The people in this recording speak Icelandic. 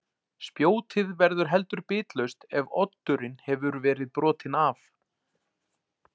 Spjótið verður heldur bitlaust ef oddurinn hefur verið brotinn af.